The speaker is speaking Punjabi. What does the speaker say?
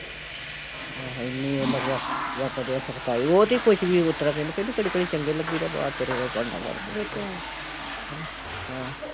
ਆਹੋ ਏਨੀ ਓਹ ਮਤਲਬ, ਵਰਤਦੇ ਐ ਸਖਤਾਈ, ਓਹ ਤੇ ਕੁਸ਼ ਵੀ ਓਸਤਰਾਂ ਕਹਿੰਦੇ ਕਹਿੰਦੀ ਘੜੀ ਘੜੀ ਚੰਗੇ ਲੱਗੀ ਦਾ ਬਾਹਰ ਤੁਰੇ ਰਹੋ ਭਾਂਡਾ ਫੜ ਕੇ ਹੈਨਾ, ਹੈਂ